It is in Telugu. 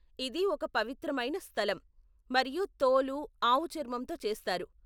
ఇది ఒక పవిత్రమైన స్థలం, మరియు తోలు ఆవు చర్మంతో చేస్తారు.